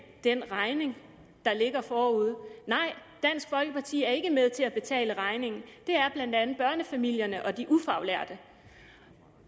den regning der ligger forude nej dansk folkeparti er ikke med til at betale regningen det er blandt andet børnefamilierne og de ufaglærte